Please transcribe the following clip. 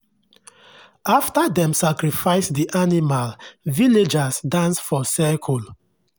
after dem sacrifice the animal villagers dance for circle.